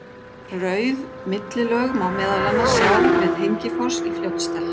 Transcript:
Rauð millilög má meðal annars sjá við Hengifoss í Fljótsdal.